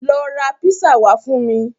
Lọ ra písà wá fún mi.